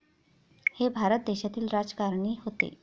हे भारत देशातील राजकारणी होते.